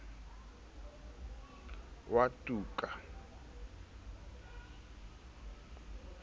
wa tuka e ne e